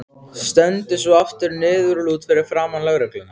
Stendur svo aftur niðurlút fyrir framan lögregluna.